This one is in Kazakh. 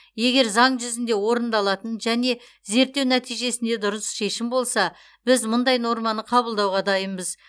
егер заң жүзінде орындалатын және зерттеу нәтижесінде дұрыс шешім болса біз мұндай норманы қабылдауға дайынбыз